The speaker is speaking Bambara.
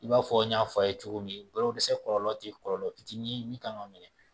I b'a fɔ n y'a fɔ a' ye cogo min kolo dɛsɛ kɔlɔlɔ tɛ kɔlɔlɔ fitinin min kan ka minɛ